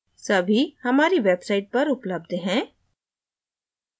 सभी हमारी website पर उपलब्ध हैं